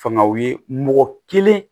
Fangaw ye mɔgɔ kelen